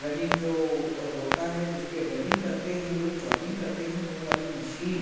running जो होता है जिसपे रनिंग करते हैं लोग जॉगिंग करते हैं वो वाली मशीन --